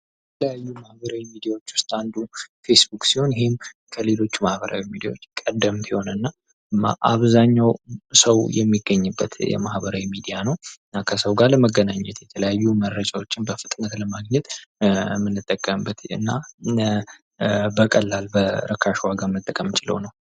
ከተለያዩ ማህበራዊ ሚዲያዎች ዉስጥ አንዱ ፌስቡክ ሲሆን ይህም ከሌሎቹ የማህበራዊ ሚዲያዎች አብዛኛዉ ሰዉ የሚገኝበት የማህበራዊ ሚዲያ ነዉ። እና ከሰዉ ጋር ለመገናኘት መረጃዎችን በፍጥነት ለማግኘት የምንጠቀምበት እና በቀላል በርካሽ ዋጋ መጠቀም የምንችለዉ ነዉ።